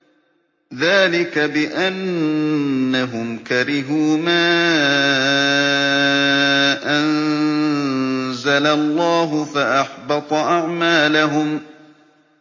ذَٰلِكَ بِأَنَّهُمْ كَرِهُوا مَا أَنزَلَ اللَّهُ فَأَحْبَطَ أَعْمَالَهُمْ